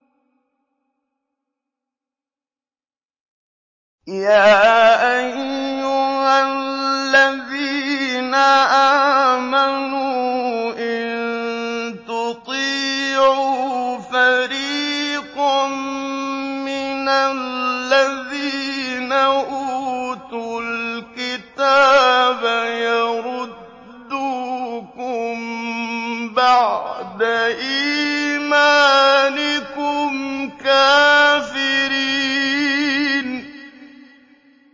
يَا أَيُّهَا الَّذِينَ آمَنُوا إِن تُطِيعُوا فَرِيقًا مِّنَ الَّذِينَ أُوتُوا الْكِتَابَ يَرُدُّوكُم بَعْدَ إِيمَانِكُمْ كَافِرِينَ